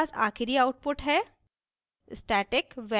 इसलिए हमारे thus आखिरी output है